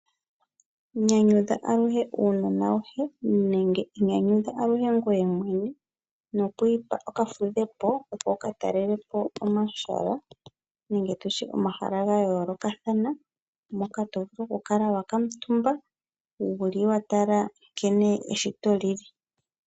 Nyanyudha aluhe uunona wohe nenge inyanyudha aluhe ngweye mwene nokwipa okafudhepo opo wukatalele po omahala nenge tutye omahala gayolokathana moka tovulu okukala wakamutumba wuli watala nkene eshito li li.